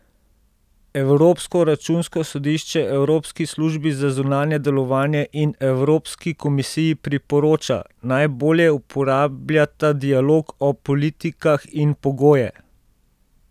Evropsko računsko sodišče Evropski službi za zunanje delovanje in Evropski komisiji priporoča, naj bolje uporabljata dialog o politikah in pogoje.